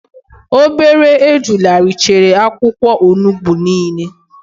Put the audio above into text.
Obere ejula richara akwukwo onugbu nile